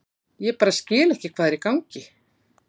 Ég bara skil ekki hvað er í gangi.